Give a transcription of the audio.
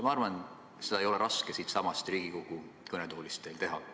Ma arvan, et seda ei ole raske teil siitsamast Riigikogu kõnetoolist teha.